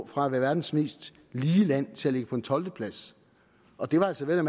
fra at være verdens mest lige land til at ligge på en tolvteplads og det var altså vel at